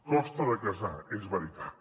costa de casar és veritat